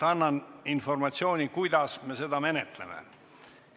Annan informatsiooni, kuidas me seda menetleme.